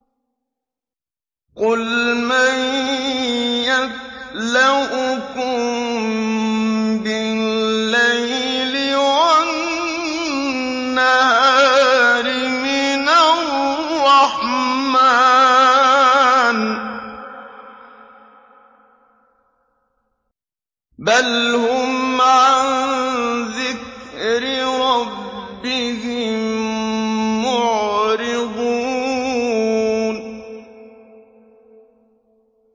قُلْ مَن يَكْلَؤُكُم بِاللَّيْلِ وَالنَّهَارِ مِنَ الرَّحْمَٰنِ ۗ بَلْ هُمْ عَن ذِكْرِ رَبِّهِم مُّعْرِضُونَ